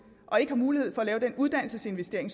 og ikke har mulighed for at lave den uddannelsesinvestering